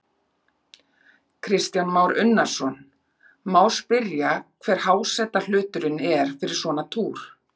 Kristján Már Unnarsson: Má spyrja hver hásetahluturinn er fyrir svona túr?